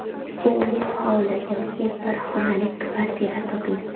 U hovli yoki bir xonali kvartira toping.